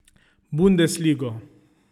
Bundesligo.